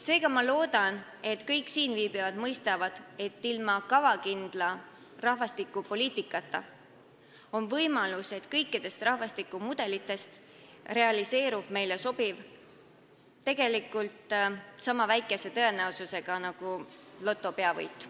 Seega loodan, et kõik siinviibijad mõistavad, et ilma kavakindla rahvastikupoliitikata on võimalus, et kõikidest rahvastikumudelitest realiseerub meile sobiv, tegelikult niisama väikese tõenäosusega nagu loto peavõit.